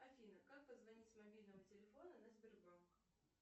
афина как позвонить с мобильного телефона на сбербанк